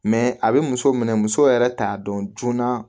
Mɛ a bɛ muso minɛ muso yɛrɛ t'a dɔn joona